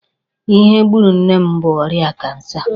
Ihe gburu nne m bụ ọrịa Kansa.